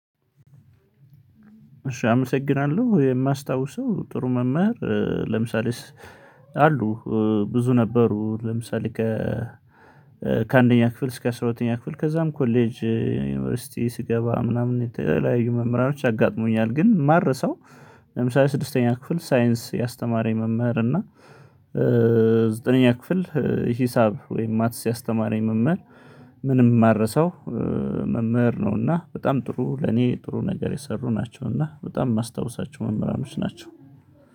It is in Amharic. እሺ አመሰግናለሁ የማስታውሰው ጥሩ መምህር ለምሳሌ አሉ። ብዙ ነበሩ ለምሳሌ ከ ከአንደኛ ክፍል እስከ አስራ ሁለተኛ ክፍል ከዛም ኮሌጅ ዩኒቨርሲቲ ሲገባ ምናምን የተለያዩ መምህራኖች አጋጥሞኛል ግን ማረሳው። ለምሳሌ ስድስተኛ ክፍል ሳይንስ ያስተማረኝ መምህር እና ዘጠነኛ ክፍል ሂሳብ ወይም ማትስ ያስተማረኝ መምህር። ምንም የማረሳው መምህር ነው እና በጣም ጥሩ ለኔ ጥሩ ነገር የሰሩ ናቸውና በጣም የማስታውሳቸው መምህራኖች ናቸው